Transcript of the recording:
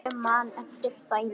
Ég man eftir dæmi.